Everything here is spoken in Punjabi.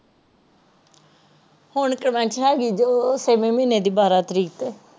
ਹੋਣ conventional ਹੈਗੀ ਜੋ ਛੇਵੇਂ ਮਹੀਨੇ ਦੀ ਬਾਰਹ ਤਾਰੀਕ ਟੋਹ